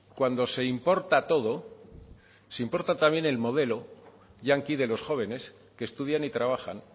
cuando se importa todo se importa también el modelo yanqui de los jóvenes que estudian y trabajan